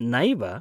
नैव।